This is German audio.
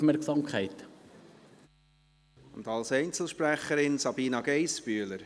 Als Einzelsprecherin: Sabina Geissbühler.